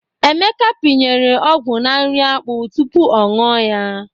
Emeka pịnyere ọgwụ na nri akpụ tupu ọ nụọ ya.